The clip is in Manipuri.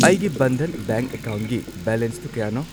ꯑꯩꯒꯤ ꯕꯟꯙꯥꯟ ꯕꯦꯡꯛ ꯑꯦꯀꯥꯎꯟꯠꯒꯤ ꯕꯦꯂꯦꯟꯁꯇꯨ ꯀꯌꯥꯅꯣ?